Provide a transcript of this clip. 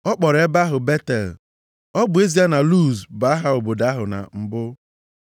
Ọ kpọrọ ebe ahụ Betel, ọ bụ ezie na Luz bụ aha obodo ahụ na mbụ.